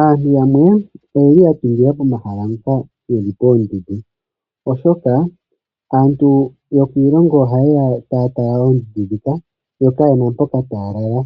Aantu yamwe oyeli ya tungila pomahala mpoka yeli poondundu, oshoka aantu yokiilongo oha yeya taya tala oondundu dhika, yo kayena mpoka taya lala,